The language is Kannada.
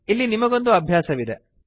ಇಲ್ಲಿ ನಿಮಗೊಂದು ಅಭ್ಯಾಸವಿದೆ